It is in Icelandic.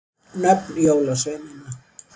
Nöfn jólasveinanna.